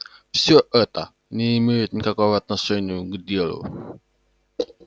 всё это не имеет никакого отношению к делу